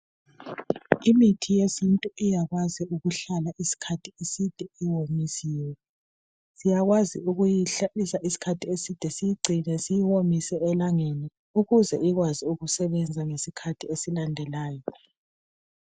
Imithi yesintu iyakwazi ukuhlala iskhathi eside iwonyisiwe. Siyakwazi ukuyihlalisa iskhathi eside sigcine siyiwomise elangeni, ukuze ikwazi ukusebenza ngesikhathi esilandelayo.